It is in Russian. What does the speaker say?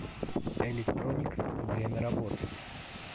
электроникс время работы